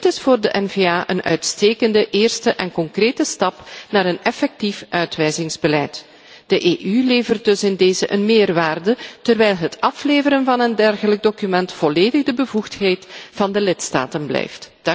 Dit is voor de N VA een uitstekende eerste en concrete stap naar een effectief uitwijzingsbeleid. De EU levert in deze dus een meerwaarde, terwijl het afleveren van een dergelijk document volledig de bevoegdheid van de lidstaten blijft.